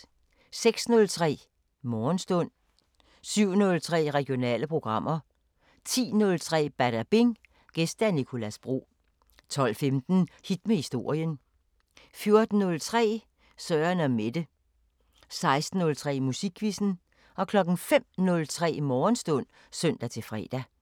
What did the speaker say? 06:03: Morgenstund 07:03: Regionale programmer 10:03: Badabing: Gæst Nicolas Bro 12:15: Hit med historien 14:03: Søren & Mette 16:03: Musikquizzen 05:03: Morgenstund (søn-fre)